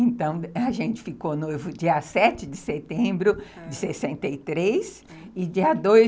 Então, a gente ficou noivo dia sete de setembro de sessenta e três e dia dois